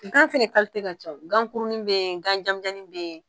Ŋan fɛnɛ kalite ka caw ŋankurunin be yen ŋan jamijan be yen